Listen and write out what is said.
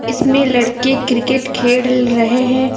इसमें लड़के क्रिकेट खेल रहे हैं।